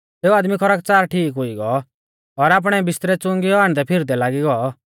सेऊ आदमी खरकच़ार ठीक हुई गौ और आपणै बिस्तरै च़ुंगीयौ आण्डदैफिरदै लागी गौ